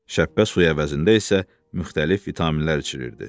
Şəhpə suyu əvəzində isə müxtəlif vitaminlər içirirdi.